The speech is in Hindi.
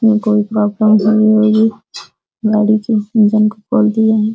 ये कोई करने वाली गाड़ी की इंजन को खोल दिये हैं।